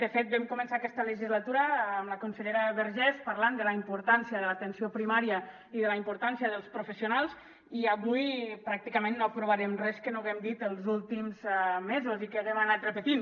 de fet vam començar aquesta legislatura amb la consellera vergés parlant de la importància de l’atenció primària i de la importància dels professionals i avui pràcticament no aprovarem res que no haguem dit els últims mesos i que haguem anat repetint